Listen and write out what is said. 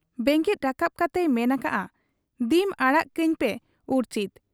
ᱵᱮᱸᱜᱮᱫ ᱨᱟᱠᱟᱵ ᱠᱟᱛᱮᱭ ᱢᱮᱱ ᱟᱠᱟᱜ ᱟ, 'ᱫᱤᱢ ᱟᱲᱟᱜ ᱠᱟᱹᱧᱯᱮ ᱩᱨᱪᱷᱤᱛ ᱾